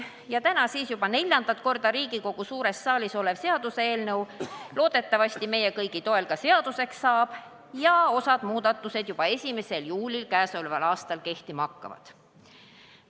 Loodetavasti saab täna juba neljandat korda Riigikogu suures saalis olev seaduseelnõu meie kõigi ka seaduseks ning osa muudatusi hakkab kehtima juba k.a 1. juulil.